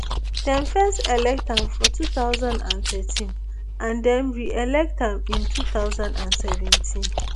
dem first elect am for two thousand and thirteen and dem reelect am in two thousand and seventeen